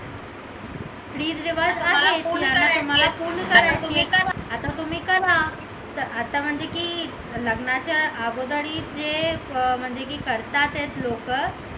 आता तुम्ही करा तर आता म्हणजे की लग्नाच्या अगोदर जे करतात आहे लोकं ते